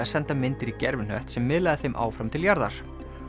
að senda myndir í gervihnött sem miðlaði þeim áfram til jarðar